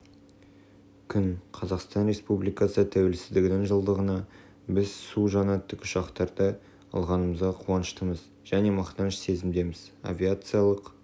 күн қазақстан республикасы тәуелсіздігінің жылдығында біз су жаңа тікұшақтарды алғанымызға қуаныштымыз және мақтаныш сезімдеміз авиациялық